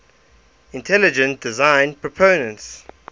intelligent design proponents